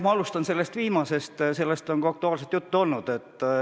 Ma alustan sellest viimasest, sellest on ka hiljuti juttu olnud.